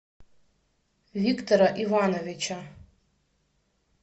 виктора ивановича